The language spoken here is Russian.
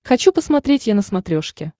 хочу посмотреть е на смотрешке